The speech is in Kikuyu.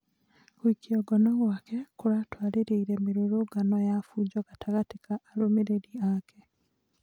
Gũikio ngoro gwake kũratũarĩrĩire mĩrũrũngano ya bunjo gatagatĩ ka arũmĩrĩri ake.